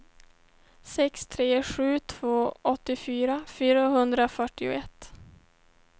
sex tre sju två åttiofyra fyrahundrafyrtioett